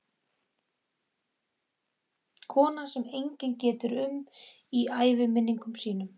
Kona sem enginn getur um í æviminningum sínum.